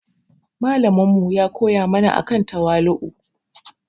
Malamin mu ya koya mana akan tawali'u.